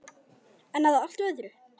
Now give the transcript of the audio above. En að allt öðru!